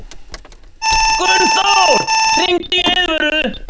Gunnþór, hringdu í Eiðvöru.